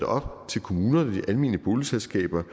op til kommunerne og de almene boligselskaber